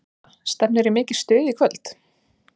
Una, stefnir í mikið stuð í kvöld?